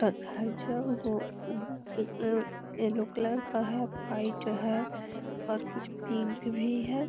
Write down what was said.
पर घर जो वो पिलो येलो का है वाइट है और कुछ पिंक भी है।